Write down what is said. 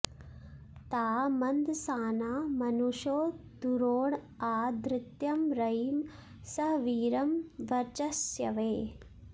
ता म॑न्दसा॒ना मनु॑षो दुरो॒ण आ ध॒त्तं र॒यिं स॒हवी॑रं वच॒स्यवे॑